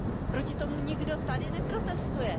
Proti tomu nikdo tady neprotestuje.